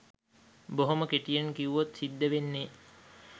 බොහොම කෙටියෙන් කිව්වොත් සිද්දවෙන්නෙ.